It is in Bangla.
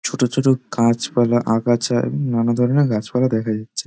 ছোট ছোট গাছপালা আগাছা এ নানা ধরনের গাছপালা দেখা যাচ্ছে।